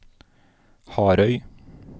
Harøy